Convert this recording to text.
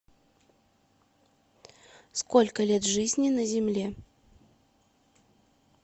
сколько лет жизни на земле